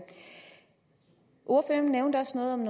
ordføreren nævnte også noget om